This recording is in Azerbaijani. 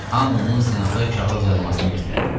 Hamı onun senata kağız yazmasını məsləhət gördü.